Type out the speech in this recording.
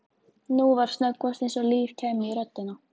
Nú var snöggvast eins og líf kæmi í röddina.